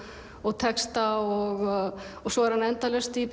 og texta og svo er hann endalaust í